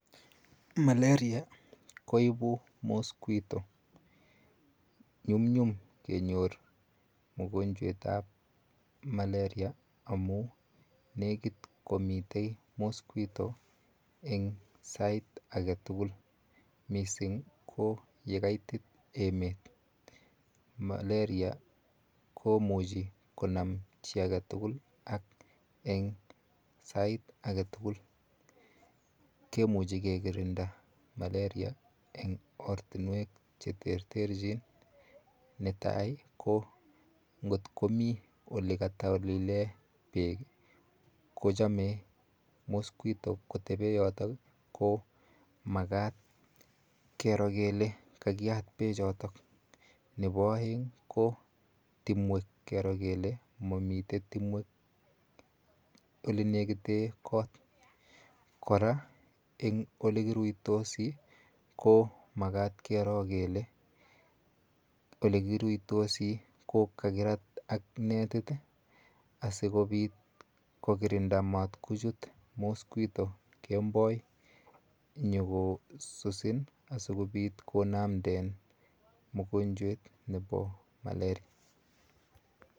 Malaria koipu mosquito. Nyumnyum kenyor mokonchwetap Malaria amu nekit komitei mosquito eng' sait age tugul. Missing ko ye kaitit emet. Malaria komuchi konam chi age tugul ak eng' sait age tugul. Kemuchi ke kirinda Malaria eng' ortunwek che ter terchin. Ne tai ko, ngot komi ole katolile peek i,ko chame mosquito kotepe yotok. Ko makat kero kole kakiyat pechotok. Nepo aeng' ko timwek, kero kele mamitei timwek ole nekite kot. Kora ko eng' olekiruitosi ko makat kero kele ,ole kiruitosi ko kakirat ak netit asikopit kokirinda matkochut mosquito kemboi nyukosusin asikonamden mogonchwet nepo Malaria.